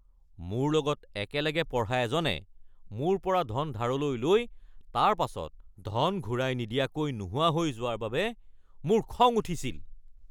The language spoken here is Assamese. মোৰ লগত একেলগে পঢ়া এজনে মোৰ পৰা ধন ধাৰলৈ লৈ তাৰ পাছত ধন ঘূৰাই নিদিয়াকৈ নোহোৱা হৈ যোৱাৰ বাবে মোৰ খং উঠিছিল।